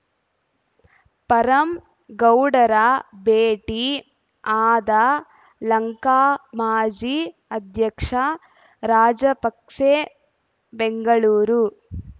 ಪರಂ ಗೌಡರ ಭೇಟಿ ಆದ ಲಂಕಾ ಮಾಜಿ ಅಧ್ಯಕ್ಷ ರಾಜಪಕ್ಸೆ ಬೆಂಗಳೂರು